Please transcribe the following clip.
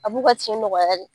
A b'u ka tin nɔgɔya de.